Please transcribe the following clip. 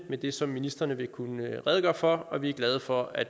med det som ministrene vil kunne redegøre for og vi er glade for at